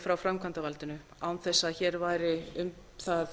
frá framkvæmdarvaldinu án þess að hér væri um það